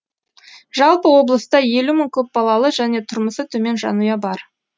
жалпы облыста елу мың көпбалалы және тұрмысы төмен жанұя бар